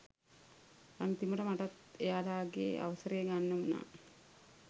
අන්තිමට මටත් එයාලගේ අවසරය ගන්න වුණා